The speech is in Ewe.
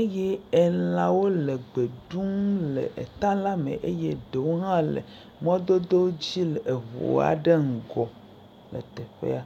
eye elãwo le gbe ɖum le eta la me eye eɖewo hã le mɔdodo dzi le eʋu aɖe ŋgɔ le teƒea.